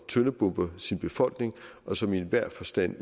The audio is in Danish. tøndebomber sin befolkning og som i enhver forstand